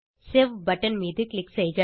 save button மீது click செய்க